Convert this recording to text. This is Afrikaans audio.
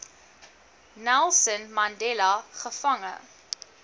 nelson mandela gevange